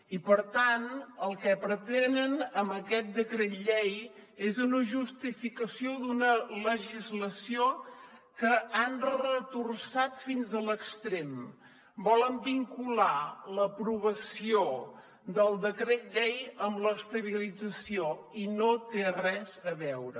i per tant el que pretenen amb aquest decret llei és una justificació d’una legislació que han retorçat fins a l’extrem volen vincular l’aprovació del decret llei amb l’estabilització i no hi té res a veure